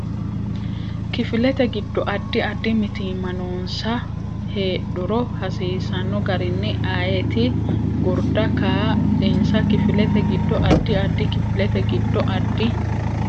Kifilete giddo addi addi mitiimma noonsa heedhuro hasiisano garini ayeeti gurda kaa linsa Kifilete giddo addi addi Kifilete giddo addi.